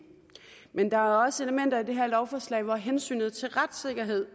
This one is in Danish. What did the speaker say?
men der er også elementer i det her lovforslag hvor at hensynet til retssikkerheden